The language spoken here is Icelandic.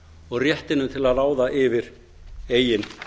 og réttinum til að ráða yfir eigin